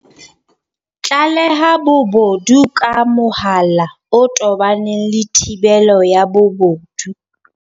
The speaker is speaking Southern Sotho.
Tlaleha bobodu ka mohala o tobaneng le thibelo ya bobodu